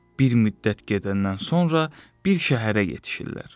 Bir müddət gedəndən sonra bir şəhərə yetişirlər.